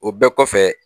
O bɛɛ kɔfɛ